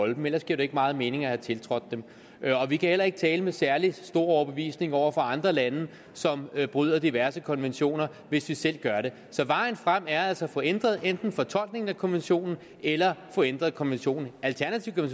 dem ellers giver det ikke meget mening at have tiltrådt dem vi kan heller ikke tale med særlig stor overbevisning over for andre lande som bryder diverse konventioner hvis vi selv gør det så vejen frem er altså enten at få ændret ændret fortolkningen af konventionen eller få ændret konventionen alternativt kan